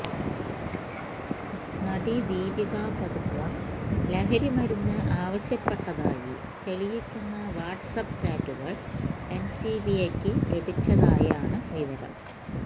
നടി ദീപിക പദുക്കോൻ ലഹരിമരുന്ന് ആവശ്യപ്പെട്ടതായി തെയിയ്ക്കുന്ന വാട്ട്സ് ആപ്പ് ചാറ്റുകൾ എൻസിബിയ്ക്ക് ലഭിച്ചതായാണ് വുവരം